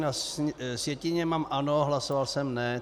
Na sjetině mám ano, hlasoval jsem ne.